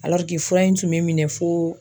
fura in tun bɛ minɛ fo.